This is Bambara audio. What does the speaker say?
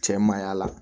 Cɛ man y'a la